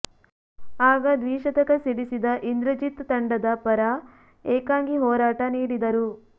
ಆಗ ದ್ವಿಶತಕ ಸಿಡಿಸಿದ ಇಂದ್ರಜಿತ್ ತಂಡದ ಪರ ಏಕಾಂಗಿ ಹೋರಾಟ ನೀಡಿದರು